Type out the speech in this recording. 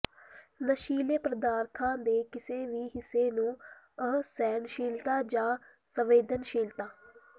ਨਸ਼ੀਲੇ ਪਦਾਰਥਾਂ ਦੇ ਕਿਸੇ ਵੀ ਹਿੱਸੇ ਨੂੰ ਅਸਹਿਣਸ਼ੀਲਤਾ ਜਾਂ ਸੰਵੇਦਨਸ਼ੀਲਤਾ